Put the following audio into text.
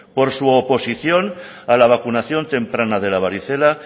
por su oposición a la vacunación temprana de la varicela